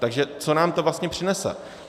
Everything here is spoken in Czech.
Takže co nám to vlastně přinese?